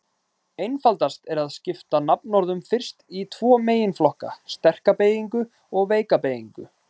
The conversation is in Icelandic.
Einfaldast er að skipta nafnorðum fyrst í tvo meginflokka: sterka beygingu og veika beygingu.